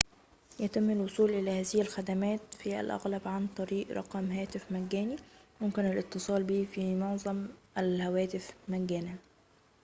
يتم الوصول إلى هذه الخدمات في الأغلب عن طريق رقم هاتف مجاني يمكن الاتصال به من معظم الهواتف مجاناً